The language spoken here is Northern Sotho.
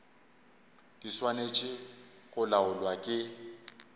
di swanetše go laolwa ke